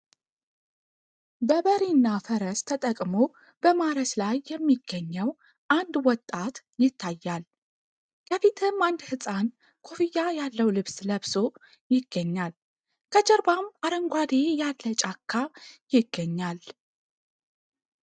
በበሬና ፈረስ ተጠቅሞ በማረስ ላይ የሚገኘው 1 ወጣት ይታያል ከፊትም አንድ ህጻን ኮፍያ ያለው ልብስ ለብሶ ይገኛል ከጀርባም አረንጓዴ ያለ ጫካ ይገኛል ።